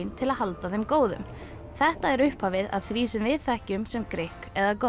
til að halda þeim góðum þetta er upphafið að því sem við þekkjum sem grikk eða gott